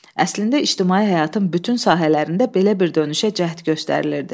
Əslində ictimai həyatın bütün sahələrində belə bir dönüşə cəhd göstərilirdi.